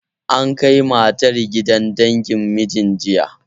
An kai matar gidan dangin mijin, jiya.